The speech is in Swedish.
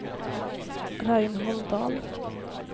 Reinhold Dahl